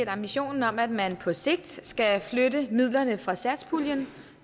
ambitionen om at man på sigt skal flytte midlerne fra satspuljen